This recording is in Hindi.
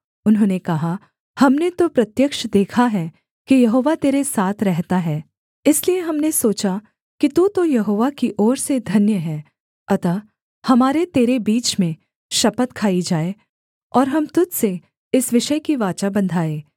उन्होंने कहा हमने तो प्रत्यक्ष देखा है कि यहोवा तेरे साथ रहता है इसलिए हमने सोचा कि तू तो यहोवा की ओर से धन्य है अतः हमारे तेरे बीच में शपथ खाई जाए और हम तुझ से इस विषय की वाचा बन्धाएँ